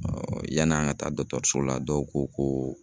yan'an ka taa dɔtɔrɔso la dɔw ko ko